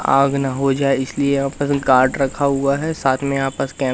आग न हो जायें इसलिए यहां फसल काट रखा हुआ है साथ मे आपस कै--